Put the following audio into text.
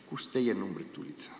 Kust on teie numbrid tulnud?